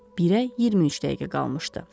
Birə 23 dəqiqə qalmışdı.